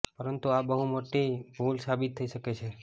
પરંતુ આ બહુ મોટી ભૂલ સાબિત થઈ શકે છે